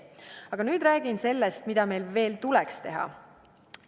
Aga nüüd räägin sellest, mida meil veel tuleks teha.